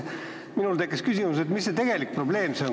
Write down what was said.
Minul tekkis küsimus, mis see tegelik probleem on.